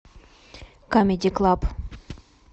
камеди клаб